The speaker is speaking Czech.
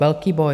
Velký boj.